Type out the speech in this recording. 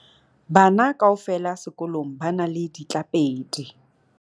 bana kaofela sekolong ba na le ditlapedi